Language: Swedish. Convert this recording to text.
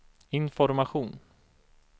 information